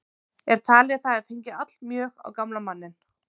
Er talið að það hafi fengið allmjög á gamla manninn.